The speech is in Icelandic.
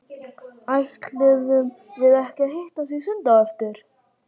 Ætluðum við ekki að hittast í sundi á eftir?